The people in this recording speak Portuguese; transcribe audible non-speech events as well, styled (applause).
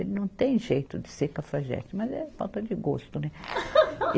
Ele não tem jeito de ser cafajeste, mas é falta de gosto, né? (laughs)